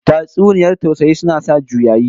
Tatsuniyar tausayi suna sa juyayi